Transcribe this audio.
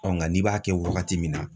nka n'i b'a kɛ wagati min na